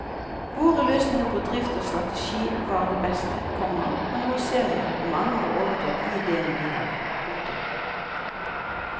Våre løsninger på drift og strategi var de beste, komma og nå ser jeg at mange har overtatt de idèene vi hadde. punktum